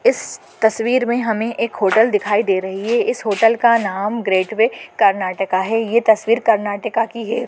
इस तस्वीर में हमें एक होटल दिखाई दे रही है इस होटल का नाम ग्रेटवे कर्नाटका है यह तस्वीर कर्नाटका की है।